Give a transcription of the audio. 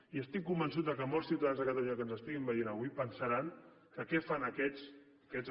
i estic convençut que molts ciutadans de catalunya que ens estiguin veien avui pensaran que què fan aquests aquests